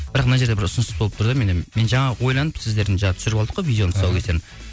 бірақ мына жерде бір ұсыныс болып тұр да менде мен жаңа ойланып сіздердің жаңа түсіріп алдық қой видеоның тұсаукесерін